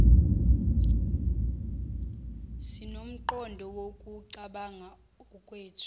sinomqondo wokucabanga okwethu